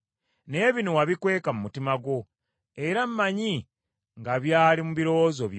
Naye bino wabikweka mu mutima gwo, era mmanyi nga byali mu birowoozo byo.